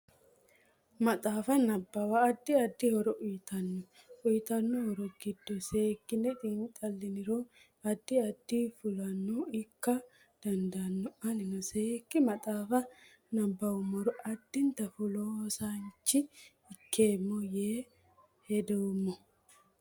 Maxaafa nabbawa addi addi horo uyiitanno uyiitanno horo giddo seekine xiinxaliniro addi addi fullahaano ikka dandiinanni anino seeke maxaafa nabawumoro addinta fullahaasinchi ikeemo yee hedeemo